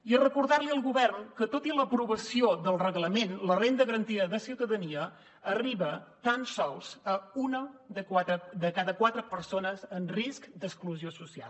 i recordar li al govern que tot i l’aprovació del reglament la renda garantida de ciutadania arriba tan sols a una de cada quatre persones en risc d’exclusió social